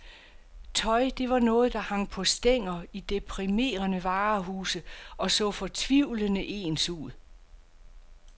Tøj, det var noget der hang på stænger i deprimerende varehuse og så fortvivlende ens ud.